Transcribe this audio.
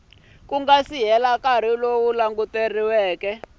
nga si hela nkarhi wo